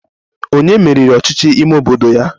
Onye meriri ọchịchị ime obodo ya